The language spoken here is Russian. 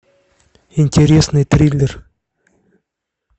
интересный триллер